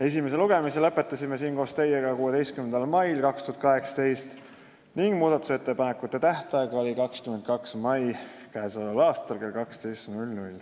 Esimese lugemise lõpetasime siin koos teiega 16. mail 2018 ning muudatusettepanekute tähtaeg oli 22. mai k.a kell 12.